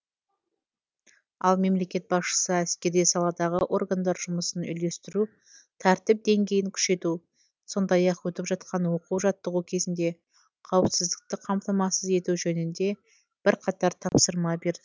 ал мемлекет басшысы әскери саладағы органдар жұмысын үйлестіру тәртіп деңгейін күшейту сондай ақ өтіп жатқан оқу жаттығу кезінде қауіпсіздікті қамтамасыз ету жөнінде бірқатар тапсырма берді